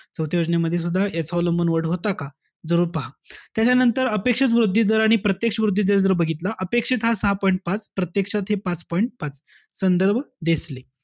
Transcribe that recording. चौथ्या योजनेमध्ये सुद्धा स्वावलंबन word होता का? जरूर पहा. त्याच्यानंतर अपेक्षित वृद्धी दर आणि प्रत्यक्ष वृद्धी दर हे जर बघितला. अपेक्षित हा सहा point पाच, प्रत्यक्षात हे पाच point पाच. संदर्भ देसले.